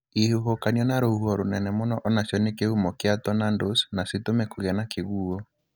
Ihuhũkanio na rũhuho rũnene mũno onacio nĩ kĩhumo kĩa tornadoes na cĩtũme kũgie na kĩguuo.